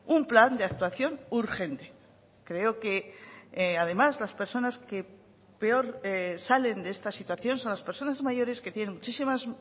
un plan de actuación urgente creo que además las personas que peor salen de esta situación son las personas mayores que tienen muchísimas